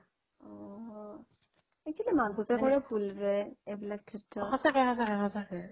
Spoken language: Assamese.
actually মাক বাপেকৰে ভুল ৰে এইবিলাক ক্ষেত্ৰত